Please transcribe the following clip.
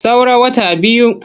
Saura wata biyu.